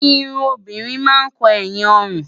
Irun obìnrin máa ń kan ẹ̀yìn ọrùn.